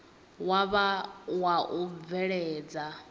wa vha wa u bveledza